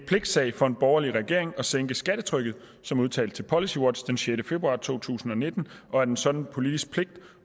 pligtsag for en borgerlig regering at sænke skattetrykket som udtalt til policywatch den sjette februar to tusind og nitten og at en sådan politisk pligt